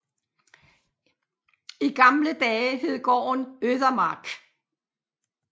I gamle dage hed gården Øthemark